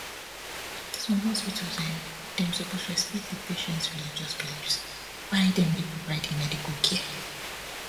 some hospitals[um]dem suppose respect di patients religious beliefs why dem dey provide di medical care